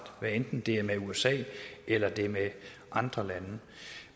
hvad enten det er med usa eller det er med andre lande